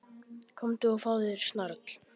Komdu og fáðu þér snarl.